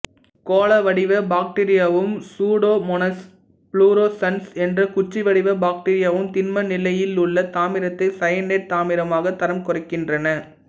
கோளவடிவ பாக்டீரியாவும் Pseudomonas fluorescens என்ற குச்சிவடிவ பாக்டீரியாவும் திண்ம நிலையிலுள்ள தாமிரத்தை சயனைடு தாமிரமாக தரம் குறைக்கின்றன